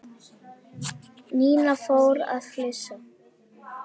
Nína fór að flissa.